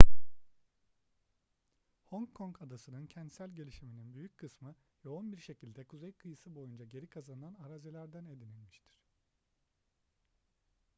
hong kong adası'nın kentsel gelişiminin büyük kısmı yoğun bir şekilde kuzey kıyısı boyunca geri kazanılan arazilerden edinilmiştir